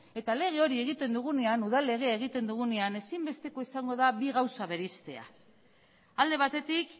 eta lege hori egiten dugunean udal legea egiten dugunean ezinbestekoa izango da bi gauza bereiztea alde batetik